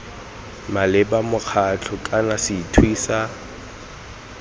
maleba mokgatlho kana sethwe sa